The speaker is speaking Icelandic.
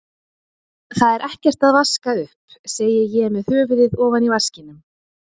Það er ekkert að vaska upp, segi ég með höfuðið ofan í vaskinum.